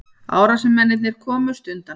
Árásarmennirnir komust undan